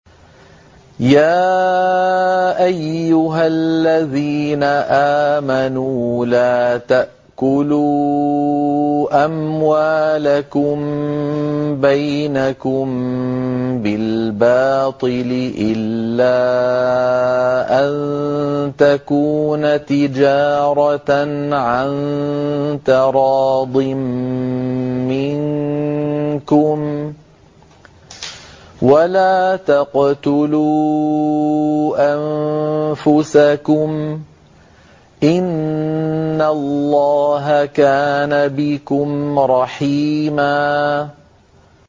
يَا أَيُّهَا الَّذِينَ آمَنُوا لَا تَأْكُلُوا أَمْوَالَكُم بَيْنَكُم بِالْبَاطِلِ إِلَّا أَن تَكُونَ تِجَارَةً عَن تَرَاضٍ مِّنكُمْ ۚ وَلَا تَقْتُلُوا أَنفُسَكُمْ ۚ إِنَّ اللَّهَ كَانَ بِكُمْ رَحِيمًا